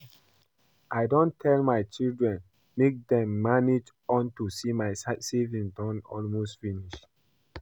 I don tell my children make dem dey manage unto say my savings don almost finish